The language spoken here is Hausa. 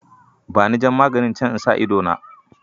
Bani jan maganin can in sa idona.